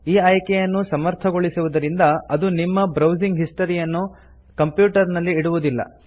ಈ ಆಯ್ಕೆಯನ್ನು ಸಮರ್ಥಗೊಳಿಸುವುದರಿಂದ ಅದು ನಿಮ್ಮ ಬ್ರೌಸಿಂಗ್ ಹಿಸ್ಟರಿಯನ್ನು ಕಂಪ್ಯೂಟರ್ ನಲ್ಲಿ ಇಡುವುದಿಲ್ಲ